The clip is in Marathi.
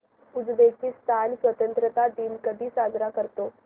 उझबेकिस्तान स्वतंत्रता दिन कधी साजरा करतो